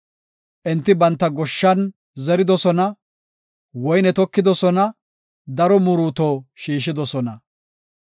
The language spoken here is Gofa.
Enti banta goshshan zeridosona; woyne tokidosona; daro muruuto shiishidosona.